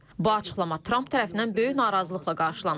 Bu açıqlama Tramp tərəfindən böyük narazılıqla qarşılanıb.